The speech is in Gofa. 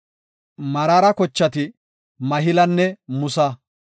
Meraara kochati Mahilanne Musa.